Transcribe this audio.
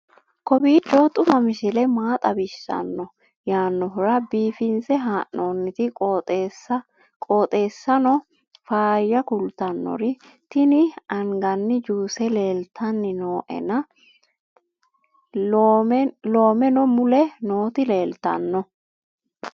kowiicho xuma mtini maa xawissanno yaannohura biifinse haa'noonniti qooxeessano faayya kultannori tini anganni juuse leeltanni nooena loomeno mule nooti leeltanno